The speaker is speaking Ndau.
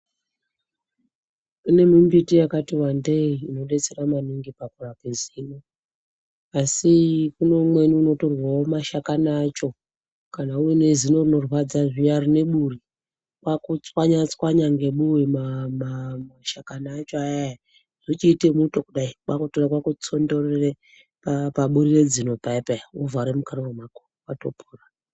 Kune mimbiti yakati wandei inodetsera maningi pakurape zino, asi kune umweni unotorwewo mashakani acho kana uine zinorinorwadza zviyani rine buri kwakuchwanya ngebuwe mashakani acho ayaya zvochiite muto kudai kwakutora kwakutsondorere paburi rezino payapaya wotovhare mukanwa mwako wotopora.